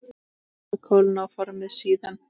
Látið kólna og formið síðan.